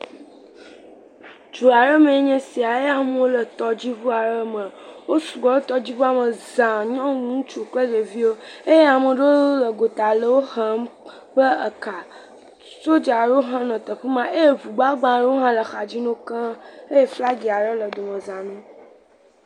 Du aɖe mee nye esi eye amewo le tɔdziŋu aɖe me, wosu gbɔ ɖe tɔdziŋua me za, nyɔnu, ŋutsu kple ɖeviwo eye ame aɖewo nɔ gota nɔ wohem kple eka, sodzawo hã le afi ma eye ŋugbagba aɖewo hã nɔ axa dzi na wo keŋ eye flagi aɖe hã le dome za na wo.